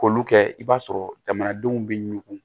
K'olu kɛ i b'a sɔrɔ jamanadenw bɛ ɲugu